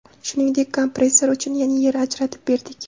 Shuningdek, kompressor uchun yana yer ajratib berdik.